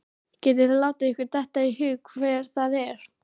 Getið þið látið ykkur detta í hug hver það er?